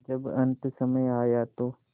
जब अन्तसमय आया तो